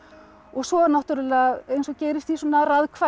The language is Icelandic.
svo náttúrulega eins og gerist í svona